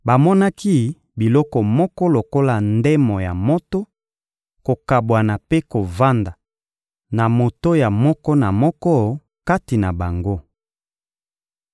Bamonaki biloko moko lokola ndemo ya moto kokabwana mpe kovanda na moto ya moko na moko kati na bango.